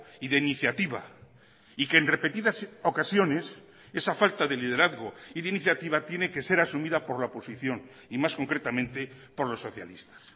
y de iniciativa y que en repetidas ocasiones esa falta de liderazgo y de iniciativa tiene que ser asumida por la oposición y más concretamente por los socialistas